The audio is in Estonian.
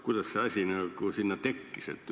Kuidas see asi nagu sinna tekkis?